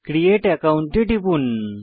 create account এ টিপুন